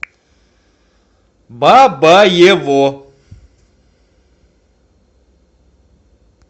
бабаево